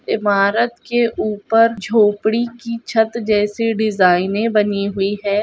इमारत के ऊपर झोपड़ी की छत जैसी डिजाइने बनी हुई है।